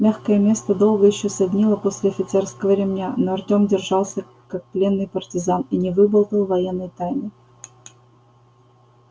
мягкое место долго ещё саднило после офицерского ремня но артём держался как пленный партизан и не выболтал военной тайны